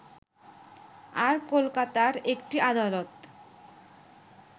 আর কলকাতার একটি আদালত